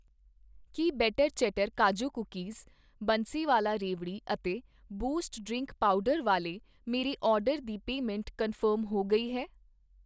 ਕੀ better chatter kaju cookies Bansiwala ਰੇਵੜੀ ਅਤੇ boost drink powder ਵਾਲੇ ਮੇਰੇ ਆਰਡਰ ਦੀ ਪੇਮੈਂਟ ਕਨਫਰਮ ਹੋ ਗਈ ਹੈ